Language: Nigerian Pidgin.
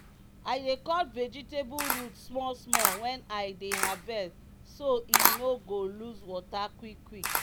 i dey cut vegetable root small small when i dey harvest so e no go lose water quick quick.